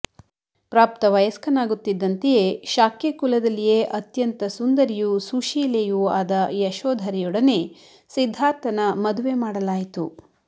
ಪ್ರಾಪ್ತ ವಯಸ್ಕನಾಗುತ್ತಿದ್ದಂತೆಯೇ ಶಾಕ್ಯ ಕುಲದಲ್ಲಿಯೇ ಅತ್ಯಂತ ಸುಂದರಿಯೂ ಸುಶೀಲೆಯೂ ಆದ ಯಶೋಧರೆಯೋಡನೆ ಸಿದ್ದಾರ್ಥಮ ಮದುವೆ ಮಾಡಲಾಯಿತು